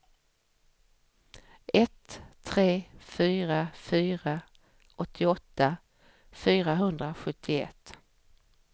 ett tre fyra fyra åttioåtta fyrahundrasjuttioett